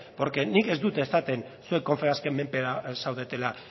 porque nik ez dut esaten zuek confebasken menpe zaudetela